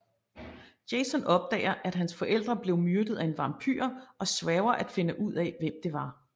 Jason opdager at hans forældre blev myrdet af en vampyr og sværger at finde ud af hvem det var